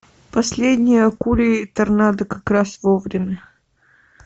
последний акулий торнадо как раз вовремя